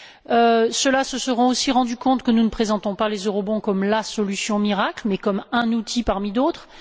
Ceux qui l'ont lu se seront aussi rendu compte que nous ne présentons pas les comme la solution miracle, mais comme un outil, parmi d'autres.